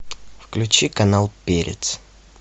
включи канал перец